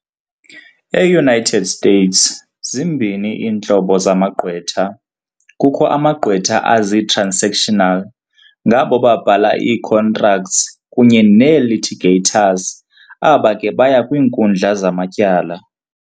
E-United States, zimbini iintlobo zamagqwtha - kukho amagqwetha azii-"transactional" ngabo babhala ii-contracts kunye nee-"litigators" aba ke baya kwiinkundla zamatyala.